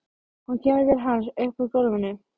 Hún kemur til hans upp úr gólfinu.